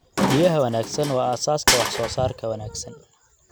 Biyaha wanaagsan waa aasaaska wax soo saarka wanaagsan.